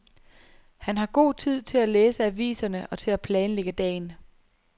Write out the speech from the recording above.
Han har god tid til at læse aviserne og til at planlægge dagen.